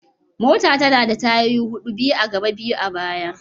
Mota tana da tayoyi hudu, biyu a gaba biyu a baya.